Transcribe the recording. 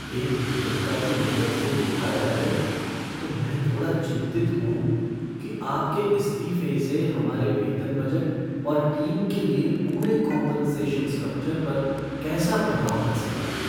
एक नियोक्ता की नज़र से देखा जाए तो मैं थोड़ा चिंतित हूँ कि आपके इस्तीफे से हमारे वेतन बजट और टीम के लिए पूरे कॉम्पनसेशन स्ट्रक्चर पर कैसा प्रभाव पड़ सकता है।